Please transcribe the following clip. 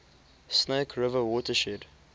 snake river watershed